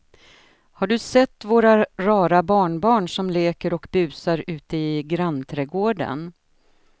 Har du sett våra rara barnbarn som leker och busar ute i grannträdgården!